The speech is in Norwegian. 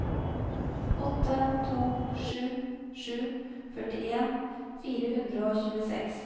åtte to sju sju førtien fire hundre og tjueseks